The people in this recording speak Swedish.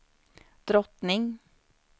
drottning